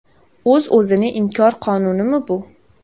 O‘z-o‘zini inkor qonunimi bu?